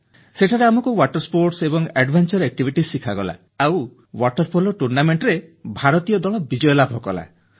ସେଠାରେ ଆମକୁ ଜଳ କ୍ରୀଡ଼ା ଏବଂ ଦୁଃସାହସିକ କ୍ରୀଡ଼ା ଶିଖାଗଲା ଆଉ ୱାଟର ପୋଲୋ ଟୁର୍ଣ୍ଣାମେଂଟରେ ଭାରତୀୟ ଦଳ ବିଜୟ ଲାଭ କଲା